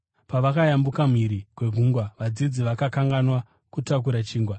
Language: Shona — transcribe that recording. Pavakayambuka mhiri kwegungwa, vadzidzi vakakanganwa kutakura chingwa.